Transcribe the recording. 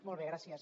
molt bé gràcies